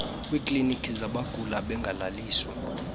kwiikliiniki zabagula bengalaliswa